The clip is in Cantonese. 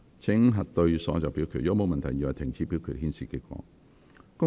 如果沒有問題，現在停止表決，顯示結果。